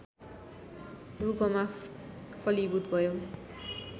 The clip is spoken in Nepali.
रूपमा फलीभूत भयो